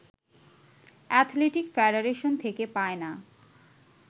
athletic federation থেকে পায় না